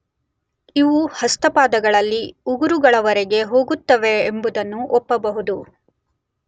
ಇವು ಹಸ್ತಪಾದಗಳಲ್ಲಿ ಉಗುರುಗಳವರೆಗೆ ಹೋಗುತ್ತವೆಂಬುದನ್ನು ಒಪ್ಪಬಹುದು.